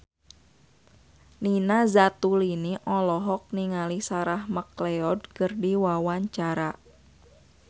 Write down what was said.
Nina Zatulini olohok ningali Sarah McLeod keur diwawancara